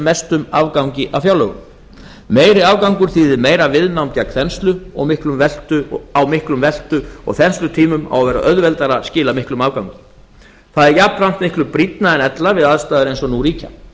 mestum afgangi á fjárlögum meiri afgangur þýðir meira viðnám gegn þenslu á miklum veltu og þenslutímum á að vera auðveldara að skila miklum afgangi það er jafnframt miklu brýnna en ella við aðstæður eins og nú ríkja